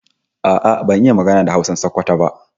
A'a ban iya magana da Hausan Sokoto ba